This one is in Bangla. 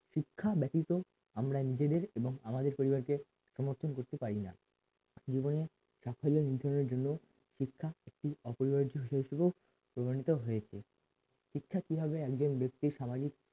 শিক্ষা ব্যতীত আমরা নিজেদের এবং আমাদের পরিবারকে নতুন করতে পারি না সাফল্য নির্ধারণের জন্য শিক্ষা একটিঅপরিহার্য্য বিষয় স্বরূপ প্রদানিত হয়েছে শিক্ষা কিভাবে একজন ব্যক্তির সমাজে